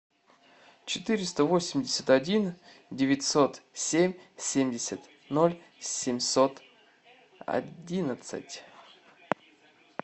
четыреста восемьдесят один девятьсот семь семьдесят ноль семьсот одиннадцать